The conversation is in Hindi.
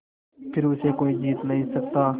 फिर उसे कोई जीत नहीं सकता